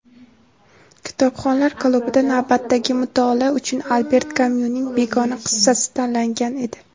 "Kitobxonlar klubi"da navbatdagi mutolaa uchun Alber Kamyuning "Begona" qissasi tanlangan edi.